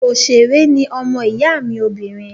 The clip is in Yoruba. Òṣèré ní ọmọ ìyá mi obìnrin